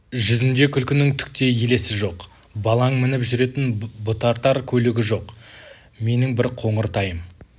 жүзінде күлкінің түк те елесі жоқ балаң мініп жүретін бұтартар көлігі жоқ менің бір қоңыр тайым